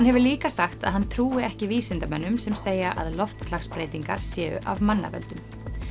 hefur líka sagt að hann trúi ekki vísindamönnum sem segja að loftslagsbreytingar séu af mannavöldum